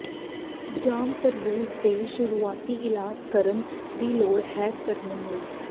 ਜਾਮ ਤਰਬੂਜ ਦੇ ਸ਼ੁਰੂਆਤੀ ਇਲਾਜ ਕਰਨ ਦੀ ਲੋੜ ਹੈ ਕਰਨ ਲਈ